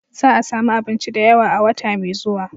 Za a sami abinci da yawa a wata mai zuwa.